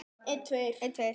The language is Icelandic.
Logi þekkir þetta.